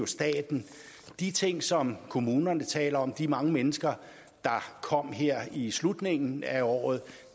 staten de ting som kommunerne taler om de mange mennesker der kom her i slutningen af året